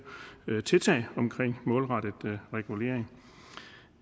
tiltag omkring målrettet regulering